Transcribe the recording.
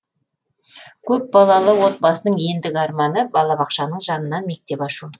көпбалалы отбасының ендігі арманы балабақшаның жанынан мектеп ашу